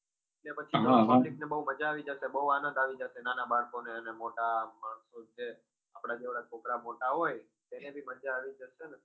ને પછી બહુ મજા આવી જશે બહુ આનદ આવી જાશે નાના બાળકો ને અને મોટા માણશો છે આપદા જેવડા છોકરા મોટા હોય એને બી મજા આવી જશે ને